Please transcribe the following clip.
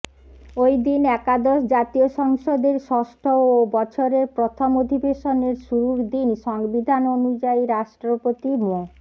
ঐদিন একাদশ জাতীয় সংসদের ষষ্ঠ ও বছরের প্রথম অধিবেশনের শুরুর দিন সংবিধান অনুযায়ী রাষ্ট্রপতি মো